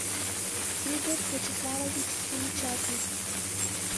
игорь вячеславович семичастных